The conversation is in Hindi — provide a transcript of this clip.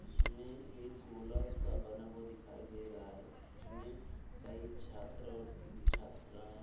जिसमे एक गोला सा बना हुआ दिखाई दे रहा है जिसमे कई छात्र और छात्राएं --